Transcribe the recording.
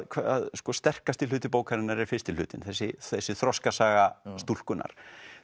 að sterkasti hluti bókarinnar er fyrsti hlutinn þessi þessi þroskasaga stúlkunnar